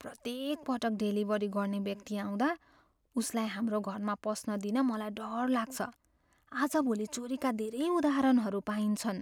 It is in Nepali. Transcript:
प्रत्येक पटक डेलिभरी गर्ने व्यक्ति आउँदा, उसलाई हाम्रो घरमा पस्न दिन मलाई डर लाग्छ। आजभोली चोरीका धेरै उदाहरणहरू पाइन्छन्।